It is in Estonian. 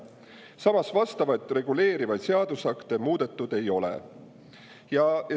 Samas, vastavaid reguleerivaid seadusakte muudetud ei ole.